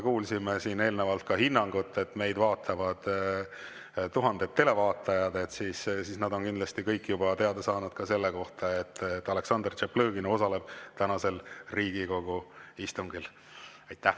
Kui me siin eelnevalt kuulsime ka hinnangut, et meid vaatavad tuhanded televaatajad, siis nad kindlasti on kõik juba teada saanud ka seda, et Aleksandr Tšaplõgin osaleb tänasel Riigikogu istungil.